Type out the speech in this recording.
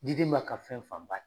Diden b'a ka fɛn fanba